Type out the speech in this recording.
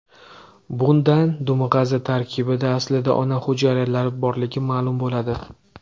Bundan dumg‘aza tarkibida aslida ona hujayralari borligi ma’lum bo‘ladi.